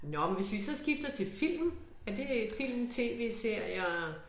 Nåh men hvis vi så skifter til film er det film tv-serier